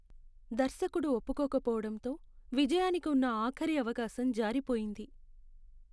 దర్శకుడు ఒప్పుకోకపోవడంతో విజయానికి ఉన్న ఆఖరి అవకాశం జారిపోయింది.